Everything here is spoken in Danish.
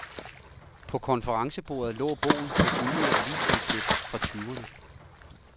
På konferencebordet lå bogen med gulnede avisudklip fra tyverne.